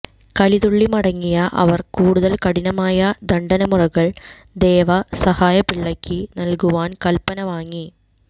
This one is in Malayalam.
കലിതുള്ളി മടങ്ങിയ അവർ കൂടുതൽ കഠിനമായ ദണ്ഡനമുറകൾ ദേവസഹായംപിള്ളയ്ക്ക് നൽകുവാൻ കല്പന വാങ്ങി